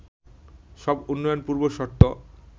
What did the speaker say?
সব উন্নয়নের পূর্বশর্ত